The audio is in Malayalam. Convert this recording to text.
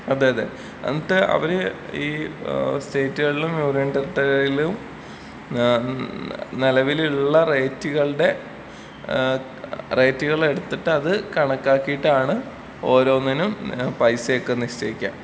അതെ അതെ. എന്നിട്ട് അവര് ഈ ഏഹ് സ്റ്റേറ്റ്കളിലും നോട്ട്‌ ക്ലിയർ ഏഹ് നിലവിലുള്ള റേറ്റ്കളുടെ ഏഹ് റേറ്റുകളെടുത്തിട്ട് അത് കണക്കാക്കിയിട്ടാണ് ഓരോന്നിനും പൈസ ഒക്കെ നിശ്ചയിക്കാ.